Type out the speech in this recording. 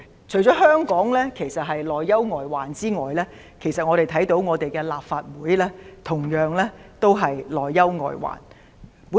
除了香港面對內憂外患外，其實立法會同樣面對內憂外患。